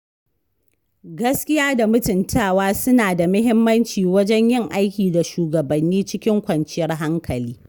Gaskiya da mutuntawa suna da muhimmanci wajen yin aiki da shugabanni cikin kwanciyar hankali.